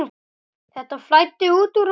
Þetta flæddi út úr honum.